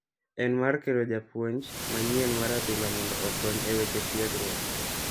En mar kelo japuonj manyien mar adhula mondo okony e weche tiegruok.